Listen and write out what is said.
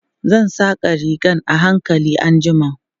Zan saƙa rigan a hankali anjima.